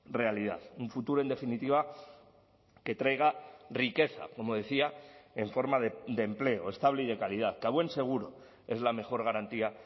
realidad un futuro en definitiva que traiga riqueza como decía en forma de empleo estable y de calidad que a buen seguro es la mejor garantía